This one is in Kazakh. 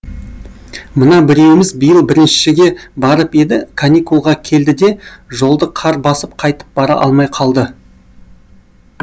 мына біреуіміз биыл біріншіге барып еді каникулға келді де жолды қар басып қайтып бара алмай қалды